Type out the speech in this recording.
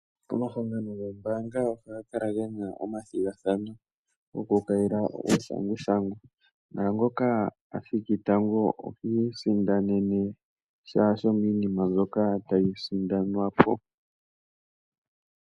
Omahangano goombanga ohaga kala gena omathigathano goku kayila uuthaguthangu naa ngoka athiki tango ohi isindanene sha shomiinima mbyoka tayi sindanwa po.